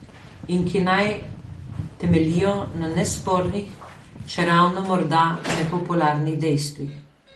In ki naj temeljijo na nespornih, čeravno morda nepopularnih dejstvih.